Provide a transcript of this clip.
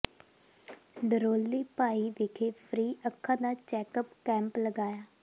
ਡਰੋਲੀ ਭਾਈ ਵਿਖੇ ਫ੍ਰੀ ਅੱਖਾਂ ਦਾ ਚੈੱਕਅਪ ਕੈਂਪ ਲਗਾਇਆ